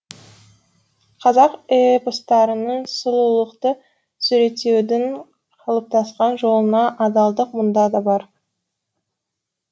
қазақ эпостарындағы сұлулықты суреттеудің қалыптасқан жолына адалдық мұнда да бар